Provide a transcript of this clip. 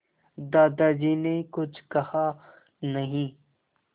दादाजी ने कुछ कहा नहीं